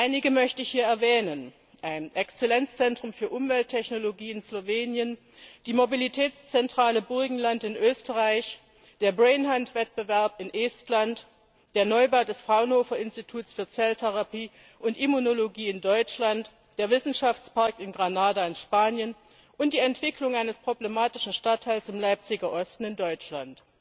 Einige möchte ich hier erwähnen ein Exzellenzzentrum für Umwelttechnologie in Slowenien, die Mobilitätszentrale Burgenland in Österreich, der brain hunt Wettbewerb in Estland, der Neubau des Fraunhofer Instituts für Zelltherapie und Immunologie in Deutschland, der Wissenschaftspark in Granada in Spanien und die Entwicklung eines problematischen Stadtteils im Leipziger Osten in Deutschland.